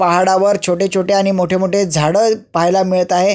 पहाडावर छोटे छोटे आणि मोठे मोठे झाड पाहायला मिळत आहे.